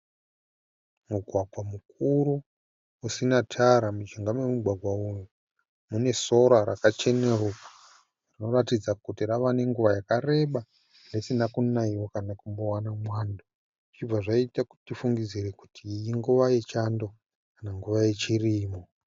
Mugwagwa mukuru usina tara mujinga memugwgwa uyu mune sora rakacheneruka rinoratidza kuti rava nenguva yakareba risina kunaiwa kana kumbowana mwando zvichibva zvaita kuti tifungidzire kuti inguva yechando kana chirimo